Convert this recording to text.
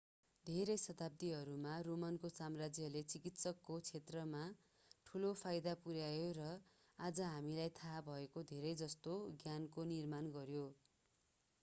धेरै शताब्दीहरूमा रोमनको साम्राज्यले चिकित्साको क्षेत्रमा ठूलो फाईदा पुर्‍यायो र आज हामीलाई थाहा भएको धेरैजस्तो ज्ञानको निर्माण गर्यो।